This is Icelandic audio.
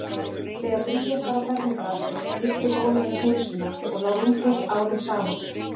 Þegar Bríet var á fermingaraldri missti móðir hennar heilsuna og lá rúmföst árum saman.